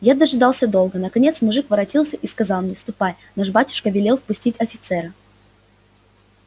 я дожидался долго наконец мужик воротился и сказал мне ступай наш батюшка велел впустить офицера